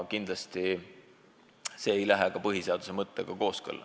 Kindlasti see ei lähe põhiseaduse mõttega kooskõlla.